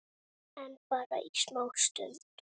En bara í smá stund.